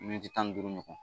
Miniti tan ni duuru ɲɔgɔn.